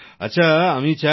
আচ্ছা আমি চাই